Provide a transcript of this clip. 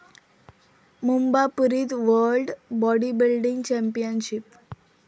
मुंबापुरीत world bodybuilding championship